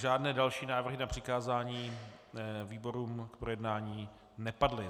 Žádné další návrhy na přikázání výborům k projednání nepadly.